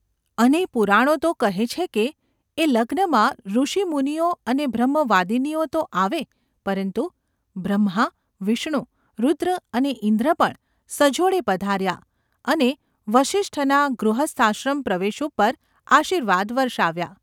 અને ​ પુરાણો તો કહે છે કે એ લગ્નમાં ઋષિમુનિઓ અને બ્રહ્મવાદિનીઓ તો આવે પરંતુ બ્રહ્મા, વિષ્ણુ, રુદ્ર અને ઇન્દ્ર પણ સજોડે પધાર્યા અને વસિષ્ઠના ગૃહસ્થાશ્રમ પ્રવેશ ઉપર આશીર્વાદ વર્ષાવ્યા.